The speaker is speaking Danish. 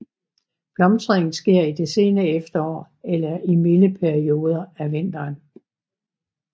Blomstringen sker i det sene efterår eller i milde perioder af vinteren